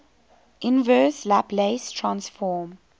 inverse laplace transform